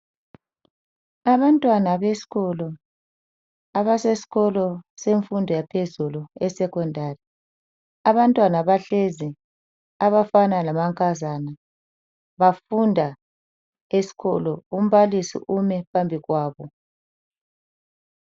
Abantwana besikolo abasesikolo semfundo yaphezulu yesecondary. Abantwana bahlezi abafana lamankazana bafunda esikolo. Umbalisi ume phambi kwabo.